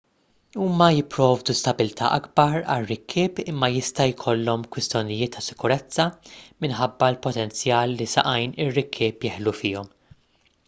huma jipprovdu stabbiltà akbar għar-rikkieb imma jista' jkollhom kwistjonijiet ta' sikurezza minħabba l-potenzjal li saqajn ir-rikkieb jeħlu fihom